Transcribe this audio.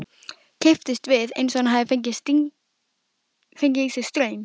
Kipptist við eins og hann hefði fengið í sig straum.